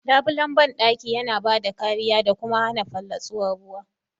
Labulen bandaki yana bada kariya da kuma hana fallatsuwar ruwa..